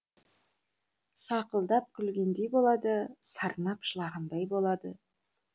сақылдап күлгендей болады сарнап жылағандай болады